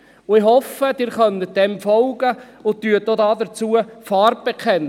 Ich hoffe, Sie können dem folgen und werden auch Farbe bekennen.